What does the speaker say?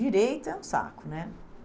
Direito é um saco, né?